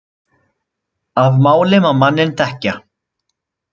Af máli má manninn þekkja.